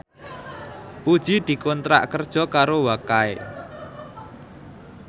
Puji dikontrak kerja karo Wakai